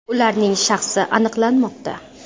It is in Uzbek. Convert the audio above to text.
Ularning shaxsi aniqlanmoqda.